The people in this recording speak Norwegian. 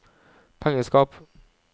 pengeskap